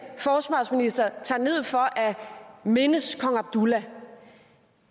forsvarsminister tager ned for at mindes kong abdullah